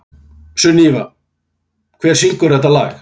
Sunníva, hver syngur þetta lag?